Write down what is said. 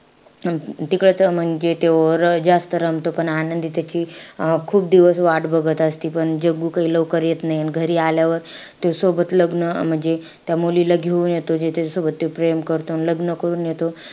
तिकडचं म्हणजे ते जास्त रमतो पण आनंदी त्याची अं खूप दिवस वाट बघत असती. पण जग्गू काई लवकर येत नाई. अन घरी आल्यावर ते सोबत लग्न म्हणजे अं त्या मुलीला घेऊन येतो. ज्याच्यासोबत ते प्रेम करतो अन लग्न करून येतो.